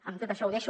amb tot això ho deixo